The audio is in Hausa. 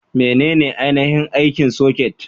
Menene ainihin aikin soket?